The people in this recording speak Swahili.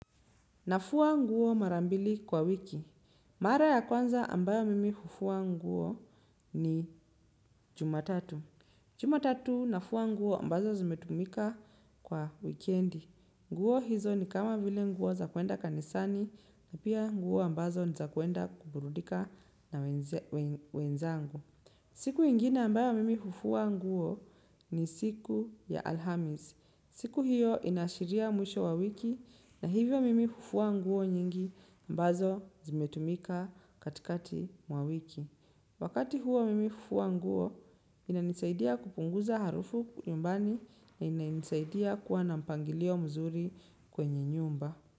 Nafua nguo mara mbili kwa wiki. Mara ya kwanza ambayo mimi hufua nguo ni jumatatu. Jumatatu nafua nguo ambazo zimetumika kwa wikendi. Nguo hizo ni kama vile nguo za kuenda kanisani na pia nguo ambazo za kuenda kuburudika na wenzangu. Siku ingine ambayo mimi hufua nguo ni siku ya Alhamisi. Siku hiyo inaashiria mwisho wa wiki na hivyo mimi hufua nguo nyingi ambazo zimetumika katikati mwa wiki. Wakati huo mimi hufua nguo inanisaidia kupunguza harufu nyumbani na inanisaidia kuwa na mpangilio mzuri kwenye nyumba.